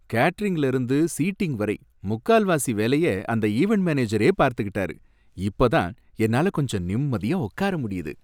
கேட்டரிங்ல இருந்து சீட்டிங் வரை முக்காவாசி வேலைய அந்த ஈவெண்ட் மேனேஜரே பார்த்துக்கிட்டாரு, இப்ப தான் என்னால கொஞ்சம் நிம்மதியா உக்கார முடியுது